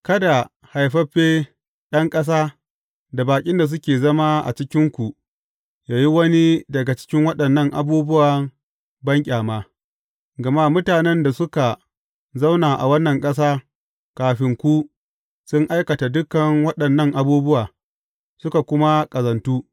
Kada haifaffe ɗan ƙasa da baƙin da suke zama a cikinku yă yi wani daga cikin waɗannan abubuwa banƙyama, gama mutanen da suka zauna a wannan ƙasa kafin ku sun aikata dukan waɗannan abubuwa, suka kuma ƙazantu.